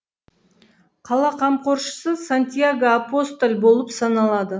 қала қамқоршысы сантияго апостоль болып саналады